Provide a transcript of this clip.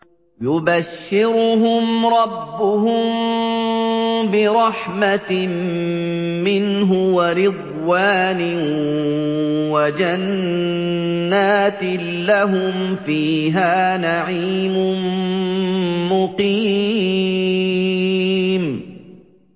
يُبَشِّرُهُمْ رَبُّهُم بِرَحْمَةٍ مِّنْهُ وَرِضْوَانٍ وَجَنَّاتٍ لَّهُمْ فِيهَا نَعِيمٌ مُّقِيمٌ